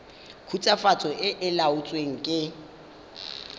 khutswafatso e e laotsweng fa